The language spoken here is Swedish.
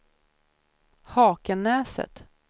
Hakenäset